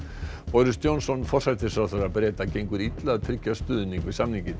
boris Johnson forsætisráðherra Breta gengur illa að tryggja stuðning við samninginn